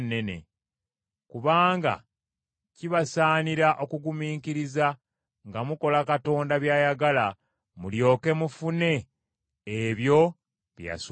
Kubanga kibasaanira okugumiikiriza nga mukola Katonda by’ayagala mulyoke mufune ebyo bye yasuubiza.